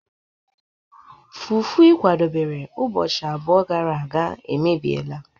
Fufu ị kwadobere ụbọchị abụọ gara aga emebiela